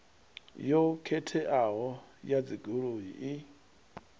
yo khetheaho ya dzigoloi i